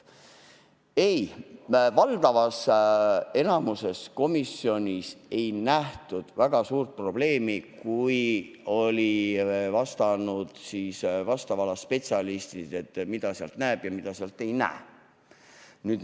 Ei, valdavas enamuses komisjon ei näinud väga suurt probleemi, pärast seda kui vastava ala spetsialistid olid vastanud, mida sealt näeb ja mida ei näe.